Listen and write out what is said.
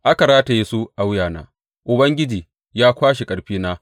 Aka rataye su a wuyana Ubangiji ya kwashe ƙarfina.